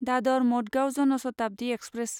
Dadar Madgaon Jan Shatabdi express